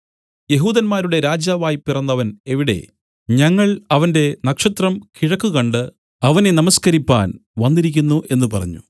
യെഹൂദന്മാരുടെ രാജാവായി പിറന്നവൻ എവിടെ ഞങ്ങൾ അവന്റെ നക്ഷത്രം കിഴക്ക് കണ്ട് അവനെ നമസ്കരിപ്പാൻ വന്നിരിക്കുന്നു എന്നു പറഞ്ഞു